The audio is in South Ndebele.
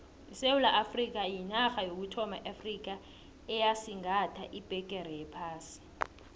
isewula afrikha yinarha yokuthoma eafrikha eyasigatha ibhegere yephasi